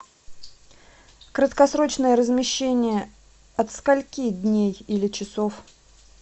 краткосрочное размещение от скольки дней или часов